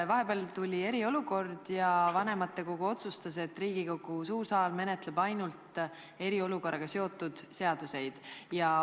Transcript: Vahepeal tuli eriolukord ja vanematekogu otsustas, et Riigikogu suur saal menetleb ainult eriolukorraga seotud seadusi.